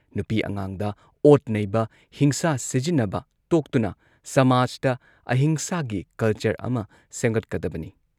ꯅꯨꯄꯤ ꯑꯉꯥꯡꯗ ꯑꯣꯠ ꯅꯩꯕ, ꯍꯤꯡꯁꯥ ꯁꯤꯖꯤꯟꯅꯕ ꯇꯣꯛꯇꯨꯅ ꯁꯃꯥꯖꯇ ꯑꯍꯤꯡꯁꯥꯒꯤ ꯀꯜꯆꯔ ꯑꯃ ꯁꯦꯝꯒꯠꯀꯗꯕꯅꯤ ꯫